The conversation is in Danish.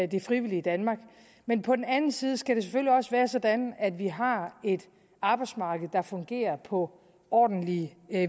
det frivillige danmark men på den anden side skal det selvfølgelig også være sådan at vi har et arbejdsmarked der fungerer på ordentlige